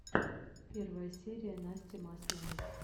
первая серия насти масловой